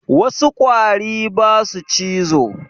Wassu ƙwari basu cizo